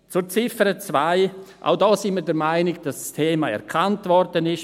Zur Ziffer 2: Auch hier sind wir der Meinung, dass das Thema erkannt worden ist;